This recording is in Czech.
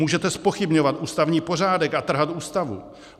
Můžete zpochybňovat ústavní pořádek a trhat Ústavu.